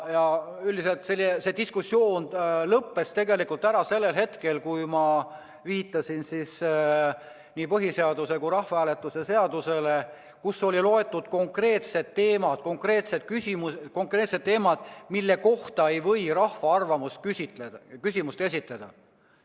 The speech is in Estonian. Üldiselt lõppes see diskussioon ära sellel hetkel, kui ma viitasin nii Eesti Vabariigi põhiseadusele kui ka rahvahääletuse seadusele, kus on loetletud need konkreetsed teemad, mille kohta ei või rahva arvamust küsida, seda küsimust esitada.